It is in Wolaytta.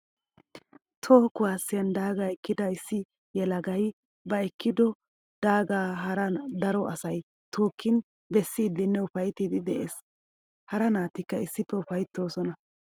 Toho kuwasiyan daaga ekkidda issi yelagay ba ekiiddo daaga hara daro asay tookin bessidinne ufayttiddi de'ees. Hara naatikka issippe ufayttosonna.